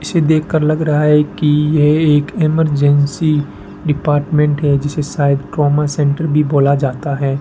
इसे देखकर लग रहा है कि ये एक इमरजेंसी डिपार्टमेंट है जिसे शायद क्रोमा सेंटर भी बोला जाता है।